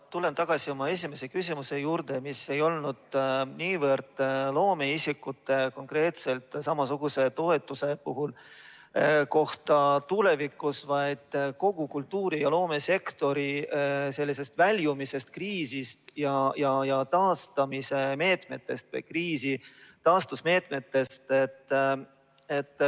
Ma tulen tagasi oma esimese küsimuse juurde, mis ei olnud niivõrd loomeisikute konkreetselt samasuguse toetuse kohta tulevikus, vaid kogu kultuuri‑ ja loomesektori kriisist väljumise ja kriisist taastumise meetmete kohta.